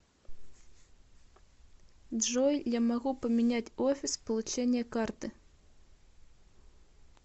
джой я могу поменять офис получения карты